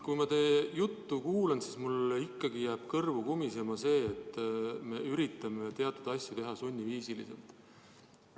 Kui ma teie juttu kuulan, siis mul jääb ikkagi kõrvus kumisema see, et me üritame teatud asju teha sunniviisiliselt.